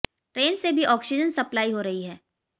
train से भी oxygen supply हो रही है